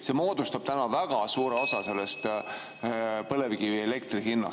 See moodustab väga suure osa põlevkivielektri hinnast.